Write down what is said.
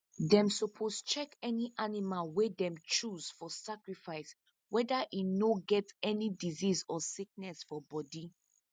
them suppose check any animal wey them choose for sacrifice whether e no get any disease or sickness for body